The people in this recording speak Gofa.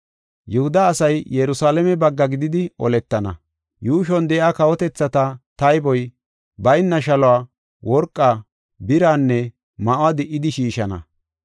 Yihuda asay Yerusalaame bagga gididi oletana. Yuushuwan de7iya kawotethata, tayboy bayna shaluwa, worqaa, biraanne ma7uwa di77idi shiishana.